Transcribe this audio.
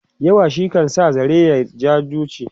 yawa shi kan sa zare ya ja duchi